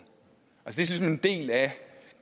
ligesom en del af